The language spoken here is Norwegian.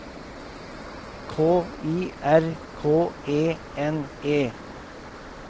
K I R K E N E